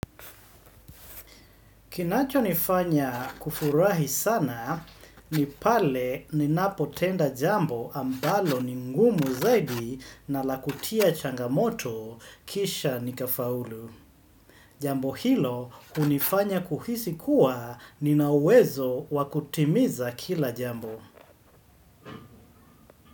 Kinacho nifanya kufurahi sana ni pale ninapo tenda jambo ambalo ningumu zaidi na lakutia changamoto kisha nika faulu. Jambo hilo hunifanya kuhisi kuwa ninauwezo wakutimiza kila jambo.